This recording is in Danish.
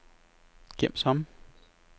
gem som